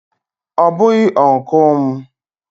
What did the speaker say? Ọ bụghị Ụnkụ m